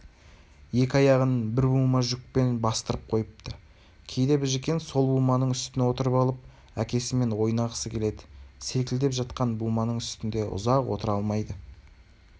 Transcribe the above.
екі аяғын бір бума жүкпен бастырып қойыпты кейде біжікен сол буманың үстіне отырып алып әкесімен ойнағысы келеді селкілдеп жатқан буманың үстінде ұзақ отыра алмайды